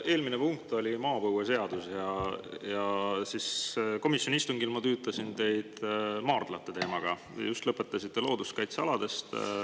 Eelmine punkt oli maapõueseadus, komisjoni istungil ma tüütasin teid maardlate teemaga ja te just lõpetasite looduskaitsealadega.